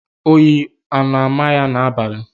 Oyi a na-ámà ya n'abalị?